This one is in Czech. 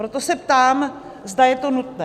Proto se ptám, zda je to nutné.